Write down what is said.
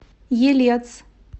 елец